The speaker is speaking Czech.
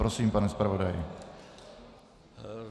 Prosím, pane zpravodaji.